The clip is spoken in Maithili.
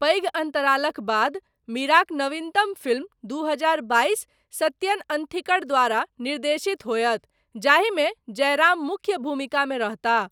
पैघ अन्तरालक बाद, मीराक नवीनतम फिल्म दू हजार बाइस सत्यन अंथिकड़ द्वारा निर्देशित होयत, जाहिमे जयराम मुख्य भूमिकामे रहताह।